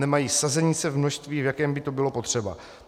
Nemají sazenice v množství, v jakém by to bylo potřeba.